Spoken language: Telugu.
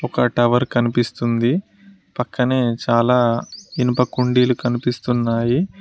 ఒక టవర్ కనిపిస్తుంది పక్కనే చాలా ఇనుప కుండీలు కనిపిస్తున్నాయి.